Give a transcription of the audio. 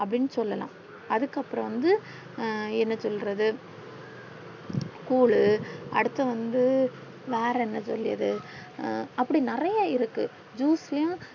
அப்டின்னு சொல்லலா அதுக்கு அப்புறம் வந்து என்ன சொல்றது குழு அடுத்து வந்து வேற என்ன சொல்லியது அஹ் அப்டி நெறைய இருக்கு juice யா